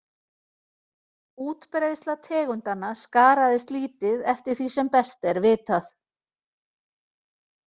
Útbreiðsla tegundanna skaraðist lítið eftir því sem best er vitað.